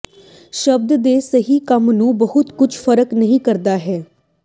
ਸ਼ਬਦ ਦੇ ਸਹੀ ਕ੍ਰਮ ਨੂੰ ਬਹੁਤ ਕੁਝ ਫ਼ਰਕ ਨਹੀ ਕਰਦਾ ਹੈ